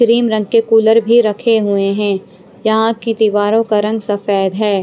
Cream रंग के cooler भी रखे हुए हैं यहाँ की दीवारों का रंग सफेद है।